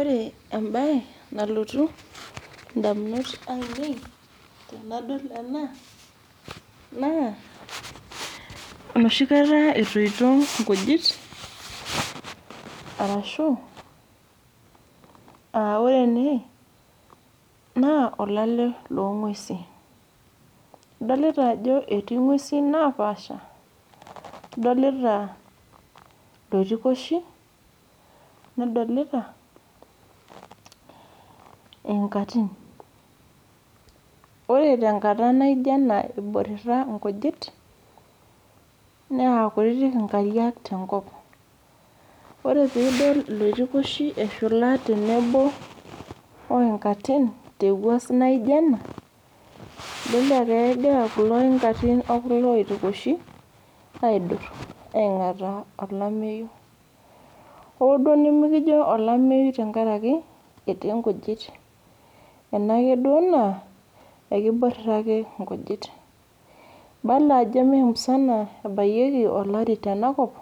Ore mbae nalotu edamunot ainei tenadol ena naa enoshi kataa etoito nkujit arashu ore ene olale loo ng'uesi adolita Ajo eti ng'uesi naapasha adolita iloitikoshi nadolita enkatin ore tenkata naijio ena eborita nkijit naa kutiti nkariak tenkop ore peidol eloitikoshi eshula oinkatin tewuas naijio ena kegira kulo oitikoshi okulo enkatin aidur aing'ataa olamei hoo nimikijo olameyu amu etii nkujit enaake duo naa eboriata eibala Ajo mee musana ebayieki olarin tenakop